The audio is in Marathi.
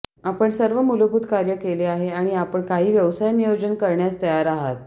आपण सर्व मूलभूत कार्य केले आहे आणि आपण काही व्यवसाय नियोजन करण्यास तयार आहात